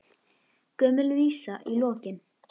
Gömul vísa í lokin.